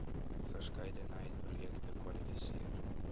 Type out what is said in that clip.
verskeidenheid projekte kwalifiseer